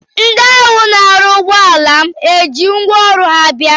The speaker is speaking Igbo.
Ndị ahụ na-arụ ụgbọala m ha ji ngwaọrụ ha bịa?